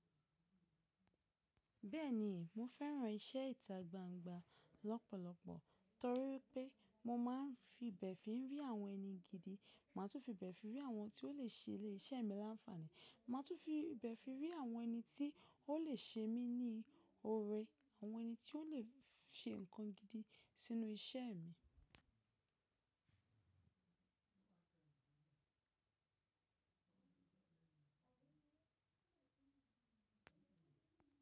Bẹ́ẹ̀ni, mo fẹ́ràn iṣẹ́ ìta gbangba lọ́pọ̀lọpọ̀ torí pé mo máa ń fi bẹ̀ fí rí àwọn ẹni gidi, màá tún fi bẹ̀ fi rí àwọn tí ó lè ṣe ilé iṣẹ́ mi láǹfààní, màá tún fi ibẹ̀ fi rí àwọn ẹni tí ó lè ṣe mí ní ọrẹ, àwọn ẹni tí ó lè ṣe nǹkan gidi sínú iṣẹ́ mi.